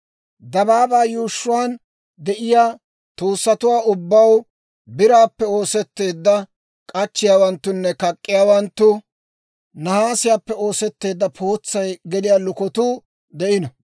Dabaabaa yuushshuwaan de'iyaa tuussatuwaa ubbaw biraappe oosetteedda k'achchiyaawanttunne kak'k'iyaawanttu, nahaasiyaappe oosetteedda pootsay geliyaa lukotuu de'ino.